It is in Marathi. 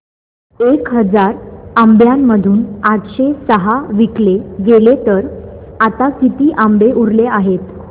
एक हजार आंब्यांमधून आठशे सहा विकले गेले तर आता किती आंबे उरले आहेत